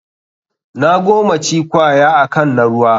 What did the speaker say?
Na gomaci kwaya akan na ruwa.